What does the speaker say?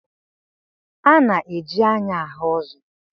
A na-eji anya ahụ ụzọ.